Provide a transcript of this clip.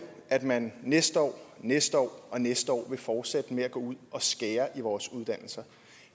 at man næste år næste år og næste år vil fortsætte med at gå ud og skære i vores uddannelser